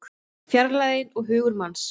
Fjarlægðin og hugur manns